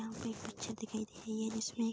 यहाँ पे एक पिक्चर दिखाई दे रही है जिसमे --